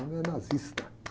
O cara era nazista.